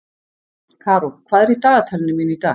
Karó, hvað er í dagatalinu mínu í dag?